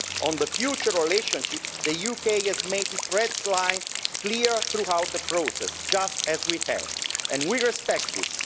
On the future relationship, the UK has made its red lines clear throughout the process just as we have and we respect this.